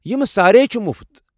یمہ سارییہ چھےٚ مٗفت ۔